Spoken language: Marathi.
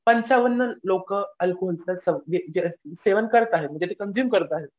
पंचावन्न लोकं अल्कोहोलचं सेवन करत आहेत म्हणजे ते कंझुम करत आहेत.